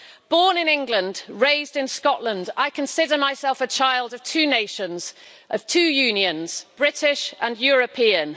Born in England, raised in Scotland, I consider myself a child of two nations, of two unions British and European.